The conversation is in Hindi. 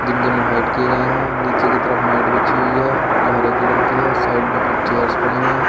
इनके मुंह हाइड किए गए हैं नीचे की तरफ मैट बिछी हुई है जो हरे कलर की है साइड में कुछ चेयर्स पड़ी हैं।